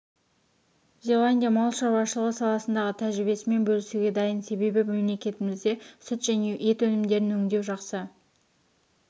зеландия мал шаруашлығы салысындағы тәжірибесімен бөлісуге дайын себебі мемлекетімізде сүт және ет өнімдерін өңдеу жақсы